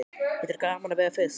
Finnst þér gaman að veiða fisk?